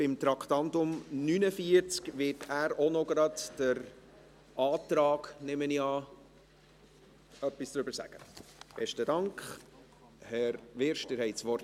Beim Traktandum 49 wird er auch gleich etwas zum Antrag sagen, nehme ich an– Besten Dank, Grossrat Wyrsch, Sie haben das Wort.